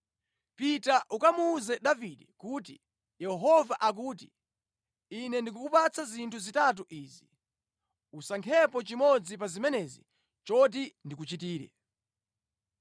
“Pita ukamuwuze Davide kuti, ‘Yehova akuti, Ine ndikukupatsa zinthu zitatu izi. Usankhepo chimodzi pa zimenezi choti ndikuchitire.’ ”